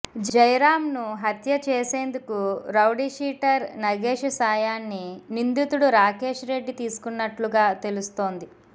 జయరాంను హత్య చేసేందుకు రౌడీషీటర్ నగేష్ సాయాన్ని నిందితుడు రాకేష్ రెడ్డి తీసుకున్నట్లుగా తెలుస్తోంది